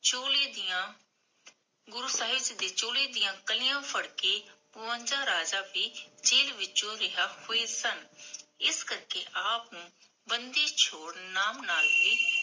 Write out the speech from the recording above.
ਚੋਲੇ ਦੀਆਂ ਗੁਰੂ ਸਾਹਿਬ ਦੇ ਚੋਲੇ ਦੀਆ ਕਲੀਆਂ ਫੜ ਕੇ ਬਵੰਜਾ ਰਾਜਾ ਵੀ ਜੇਲ ਵਿਚੋਂ ਰਿਹਾ ਹੋਏ ਸਨ ਇਸ ਕਰਕੇ ਆਪ ਨੂੰ ਬਾਂਦੀਸ਼ੋਰ ਨਾਮ ਨਾਲ